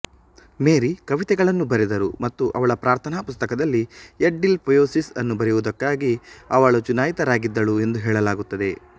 ಮೇರಿ ಕವಿತೆಗಳನ್ನು ಬರೆದರು ಮತ್ತು ಅವಳ ಪ್ರಾರ್ಥನಾ ಪುಸ್ತಕದಲ್ಲಿ ಯಡ್ಡಿಲ್ ಪೊಯೆಸಿಸ್ ಅನ್ನು ಬರೆಯುವುದಕ್ಕಾಗಿ ಅವಳು ಚುನಾಯಿತರಾಗಿದ್ದಳು ಎಂದು ಹೇಳಲಾಗುತ್ತದೆ